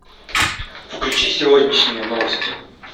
включи сегодняшние новости